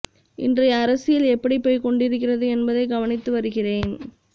இன்றைய அரசியல் எப்படி போய் கொண்டிருக்கிறது என்பதை கவனித்து வருகிறேன்